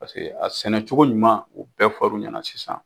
Paseke a sɛnɛcogo ɲuman u bɛɛ fɔr'u ɲana sisan.